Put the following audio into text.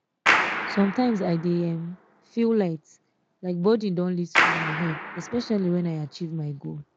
sometimes i dey um feel light um like burden don lift from my head especially when i achieve my goal